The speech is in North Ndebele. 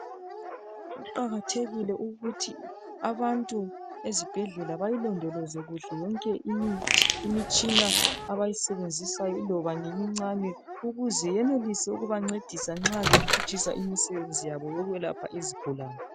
Kuqakathekile ukuthi abantu ezibhedlela bayilondoloze kuhle yonke imitshina abayisebenzisayo iloba ngemincane ukuze yenelise ukubancedisa nxa bephutshisa imisebenzi yabo yokwelapha izigulani.